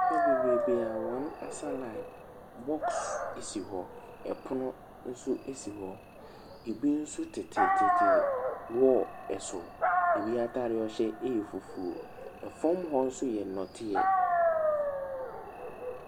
Nnipa bebrebee a wɔasa line, box si hɔ, pono si hɔ, bi nso tetetete wall so, bi ataadeɛ yɛ fufuo, fam hɔ nso yɛ nnɔteɛ.